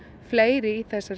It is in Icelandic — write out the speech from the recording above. fleiri í þessari